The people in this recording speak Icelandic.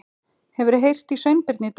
Hefurðu heyrt í Sveinbirni í dag?